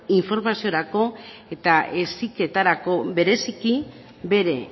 informaziorako eta heziketarako bereziki bere